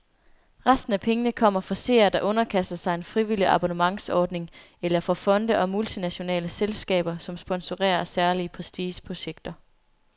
Resten af pengene kommer fra seere, der underkaster sig en frivillig abonnementsordning, eller fra fonde og multinationale selskaber, som sponsorerer særlige prestigeprojekter.